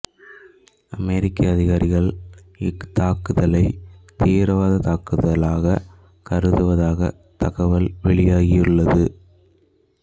அமெரிக்க அதிகாரிகள் இத்தாக்குதலைத் தீவிரவாதத் தாக்குதலாகக் கருதுவதாக தகவல் வெளியாகியுள்ளது